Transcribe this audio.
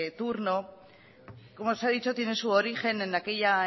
turno como se ha dicho tiene su origen en aquella